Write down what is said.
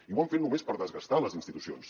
i ho han fet només per desgastar les institucions